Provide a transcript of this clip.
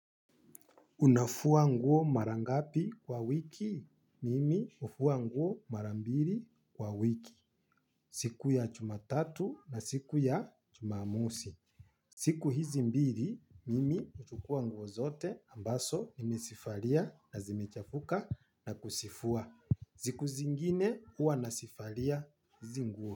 Unafua nguo mara ngapi kwa wiki? Mimi hufua nguo mara mbiri kwa wiki. Siku ya chumatatu na siku ya chumamosi. Siku hizi mbiri, mimi huchukua nguo zote ambaso nimesifalia na zimechafuka na kusifua. Ziku zingine huwa nasifalia hizi nguo.